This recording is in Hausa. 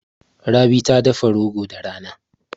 Rabi ta dafa rogo da rana.